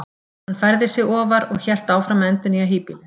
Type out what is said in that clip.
Þá færði hann sig ofar og hélt áfram að endurnýja híbýlin!